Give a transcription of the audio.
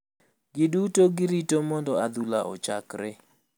Gi duto girito mondo adhula ochakre.